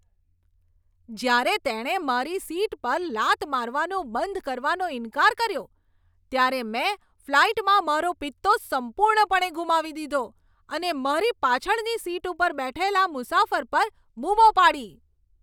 જ્યારે તેણે મારી સીટ પર લાત મારવાનું બંધ કરવાનો ઈન્કાર કર્યો ત્યારે મેં ફ્લાઈટમાં મારો પિત્તો સંપૂર્ણપણે ગુમાવી દીધો અને મારી પાછળની સીટ પર બેઠેલા મુસાફર પર બૂમો પાડી.